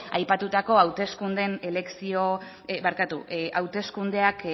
aipatutako hauteskundeak